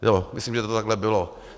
Jo, myslím, že to takhle bylo.